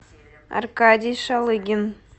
аркадий шалыгин